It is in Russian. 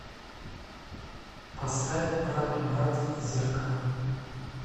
поставь братубрат зеркало